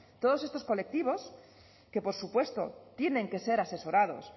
todos estos colectivos que por supuesto tienen que ser asesorados